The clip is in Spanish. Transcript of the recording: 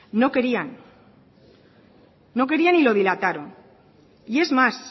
no querían no querían y lo dilataron y es más